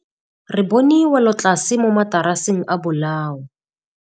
Re bone wêlôtlasê mo mataraseng a bolaô.